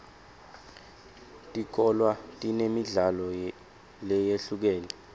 tikolwa tinemidlalo leyehlukene